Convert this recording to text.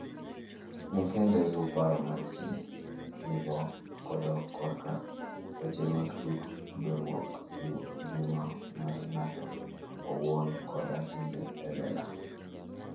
Ng'e kendo iluw paro ma ji nigo kodok korka weche motudore gi ngima mar ng'ato owuon koda timbe e lela.